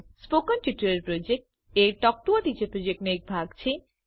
spoken tutorial project એ talk to a teacher પ્રોજેક્ટનો એક ભાગ છે